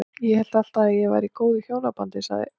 Ég hélt alltaf að ég væri í góðu hjónabandi- sagði